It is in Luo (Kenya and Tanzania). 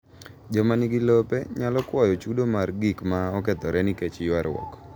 Joma nigi lope nyalo kwayo chudo mar gik ma okethore nikech ywaruok.